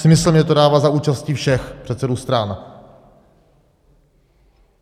Smysl mně to dává za účasti všech předsedů stran.